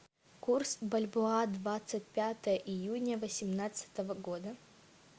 курс бальбоа двадцать пятое июня восемнадцатого года